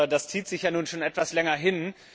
Das zieht sich ja nun schon etwas länger hin.